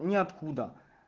неоткуда